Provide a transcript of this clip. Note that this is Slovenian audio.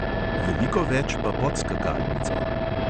Veliko več pa pod skakalnico.